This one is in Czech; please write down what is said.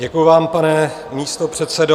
Děkuji vám, pane místopředsedo.